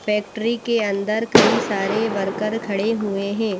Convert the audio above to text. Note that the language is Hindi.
फैक्ट्री के अंदर कई सारे वर्कर खड़े हुए हैं।